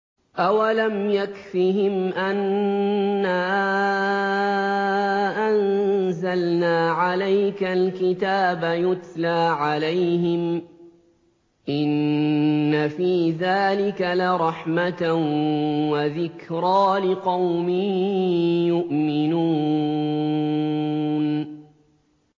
أَوَلَمْ يَكْفِهِمْ أَنَّا أَنزَلْنَا عَلَيْكَ الْكِتَابَ يُتْلَىٰ عَلَيْهِمْ ۚ إِنَّ فِي ذَٰلِكَ لَرَحْمَةً وَذِكْرَىٰ لِقَوْمٍ يُؤْمِنُونَ